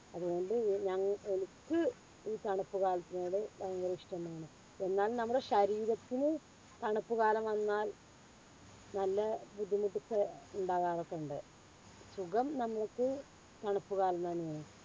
അത്കൊണ്ട് ഞങ്ങ എനിക്ക് ഈ തണുത്ത കാറ്റിനോട് ഭയങ്കര ഇഷ്ടമാണ്. എന്നാലും നമ്മളെ ശരീരത്തിന് തണുപ്പ് കാലം വന്നാൽ നല്ല ബുദ്ധിമുട്ട് ഒക്കെ ഇണ്ടാകാറൊക്കെ ഇണ്ട്. സുഖം നമ്മൾക്ക് തണുപ്പ് കാലം തന്നെയാണ്.